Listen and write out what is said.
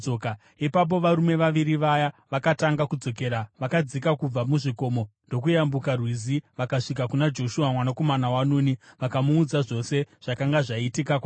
Ipapo varume vaviri vaya vakatanga kudzokera. Vakadzika kubva muzvikomo ndokuyambuka rwizi vakasvika kuna Joshua mwanakomana waNuni vakamuudza zvose zvakanga zvaitika kwavari.